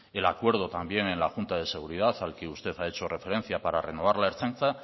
el acuerdo también en la junta de seguridad a la que usted ha hecho referencia para renovar la ertzaintza